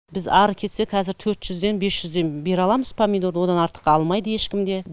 біз ары кетсе қазір төрт жүзден бес жүзден бере аламыз помидорды одан артыққа алмайды ешкім де